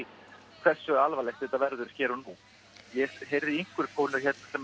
hversu alvarlegt þetta verður hér og nú ég heyrði í einhverri konu sem